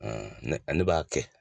ne b'a kɛ.